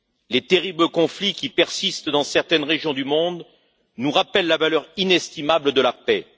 Les terribles conflits qui persistent dans certaines régions du monde nous rappellent la valeur inestimable de la paix.